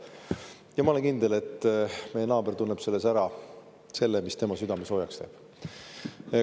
Ja ma olen kindel, et meie naaber tunneb selles ära, mis tema südame soojaks teeb.